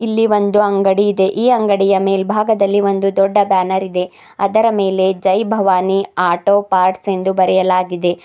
ಇಲ್ಲಿ ಒಂದು ಅಂಗಡಿ ಇದೆ ಈ ಅಂಗಡಿಯ ಮೇಲ್ಭಾಗದಲ್ಲಿ ಒಂದು ದೊಡ್ಡ ಬ್ಯಾನರ್ ಇದೆ ಅದರ ಮೇಲೆ ಜೈ ಭವಾನಿ ಆಟೋ ಪಾರ್ಟ್ಸ್ ಎಂದು ಬರೆಯಲಾಗಿದೆ.